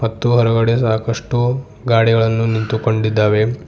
ಮತ್ತೆ ಹೊರಗಡೆ ಸಾಕಷ್ಟು ಗಾಡಿಗಳನ್ನು ನಿಂತುಕೊಂಡಿದ್ದಾವೆ.